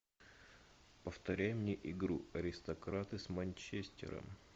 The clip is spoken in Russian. повторяй мне игру аристократы с манчестером